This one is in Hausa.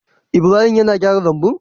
Ibrahim yAna gyara lambun?